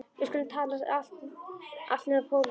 Við skulum tala um allt nema pólitík.